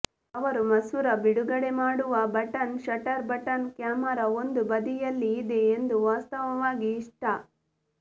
ಅವರು ಮಸೂರ ಬಿಡುಗಡೆಮಾಡುವ ಬಟನ್ ಶಟರ್ ಬಟನ್ ಕ್ಯಾಮೆರಾ ಒಂದು ಬದಿಯಲ್ಲಿ ಇದೆ ಎಂದು ವಾಸ್ತವವಾಗಿ ಇಷ್ಟ